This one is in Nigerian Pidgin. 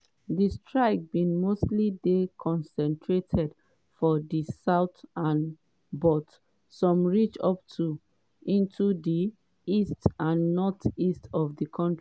di strikes bin mostly dey concentrated for di south but some reach up into di east and northeast of di country.